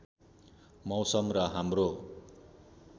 मौसम र हाम्रो